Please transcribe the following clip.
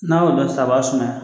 N'a y'o mɛn sisan, a b'a sumaya.